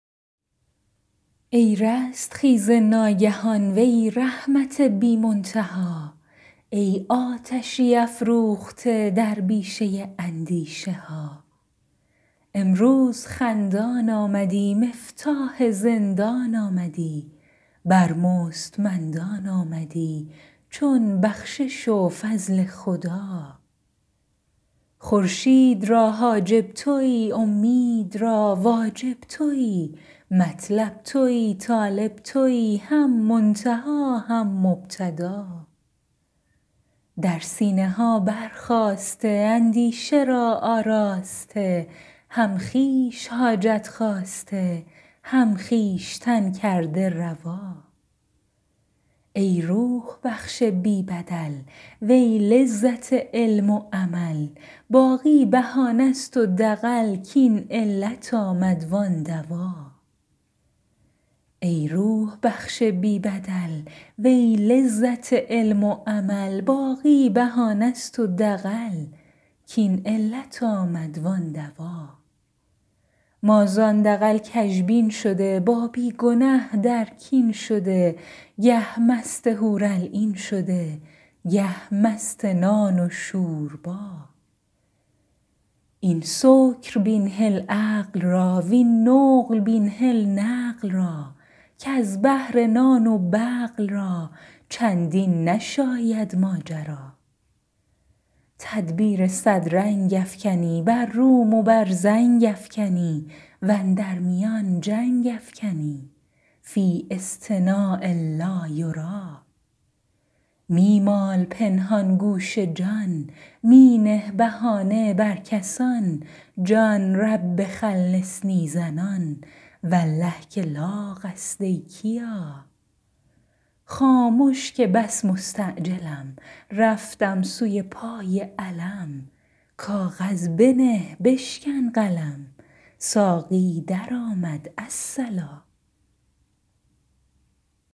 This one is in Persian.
ای رستخیز ناگهان وی رحمت بی منتها ای آتشی افروخته در بیشه اندیشه ها امروز خندان آمدی مفتاح زندان آمدی بر مستمندان آمدی چون بخشش و فضل خدا خورشید را حاجب تویی اومید را واجب تویی مطلب تویی طالب تویی هم منتها هم مبتدا در سینه ها برخاسته اندیشه را آراسته هم خویش حاجت خواسته هم خویشتن کرده روا ای روح بخش بی بدل وی لذت علم و عمل باقی بهانه ست و دغل کاین علت آمد وان دوا ما زان دغل کژبین شده با بی گنه در کین شده گه مست حورالعین شده گه مست نان و شوربا این سکر بین هل عقل را وین نقل بین هل نقل را کز بهر نان و بقل را چندین نشاید ماجرا تدبیر صد رنگ افکنی بر روم و بر زنگ افکنی و اندر میان جنگ افکنی فی اصطناع لا یری می مال پنهان گوش جان می نه بهانه بر کسان جان رب خلصنی زنان والله که لاغ است ای کیا خامش که بس مستعجلم رفتم سوی پای علم کاغذ بنه بشکن قلم ساقی درآمد الصلا